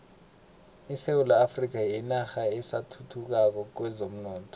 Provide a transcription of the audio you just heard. isewula afrika yinarha esathuthukako kwezomnotho